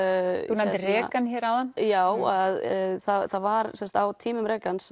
þú nefndir Regan hér áðan já það var sem sagt á tímum